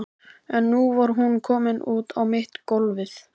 En nú var hún komin út á mitt gólfið.